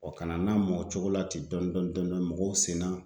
kana n lamɔ o cogo la ten dɔɔnin dɔɔnin dɔɔnin dɔɔnin mɔgɔw senna